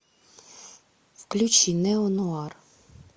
включи нео нуар